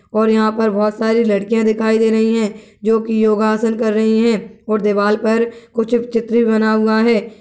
ओर यहा पर बहोत सारी लड़किया दिखाई दे रही है जोकि योगा आसन कर रही है और दीवाल पर कुछ चित्र भी बना हुआ है।